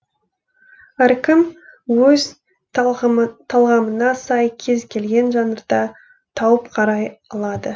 әркім өз талғамына сай кез келген жанрда тауып қарай алады